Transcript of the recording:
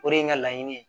O de ye n ka laɲini ye